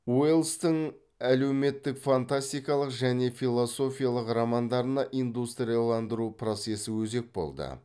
уэллстің әлеуметтік фантастикалық және философиялық романдарына индустрияландыру процесі өзек болды